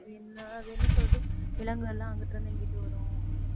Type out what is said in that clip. என்ன அது என்ன சொல்றது விலங்குகள் எல்லாம் அங்கிட்டு இருந்து இங்கிட்டு வரும்